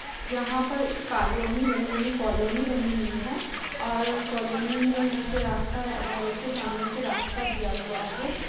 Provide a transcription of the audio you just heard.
यहां पर एक कॉलोनी बनी हुई कॉलोनी बनी हुई है और कॉलोनी में यहां से रास्ता घरों के सामने से रास्ता दिया हुआ है।